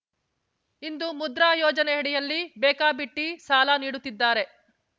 ಇಂದು ಮುದ್ರಾ ಯೋಜನೆಯಡಿಯಲ್ಲಿ ಬೇಕಾಬಿಟ್ಟಿ ಸಾಲ ನೀಡುತ್ತಿದ್ದಾರೆ